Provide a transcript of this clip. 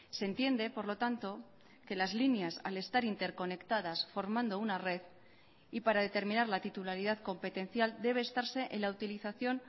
se entiende por lo tanto que las líneas al estar interconectadas formando una red y para determinar la titularidad competencial debe estarse en la utilización